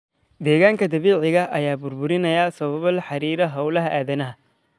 Deegaanka dabiiciga ah ayaa burburinaya sababo la xiriira hawlaha aadanaha.